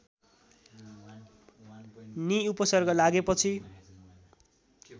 नि उपसर्ग लागेपछि